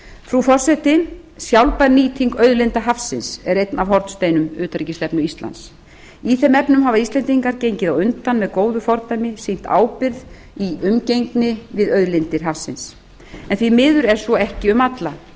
frú forseti sjálfbær nýting auðlinda hafsins er einn af hornsteinum utanríkisstefnu íslands í þeim efnum hafa íslendingar gengið á undan með góðu fordæmi sýnt ábyrgð í umgengni við auðlindir hafsins en því miður er svo ekki um alla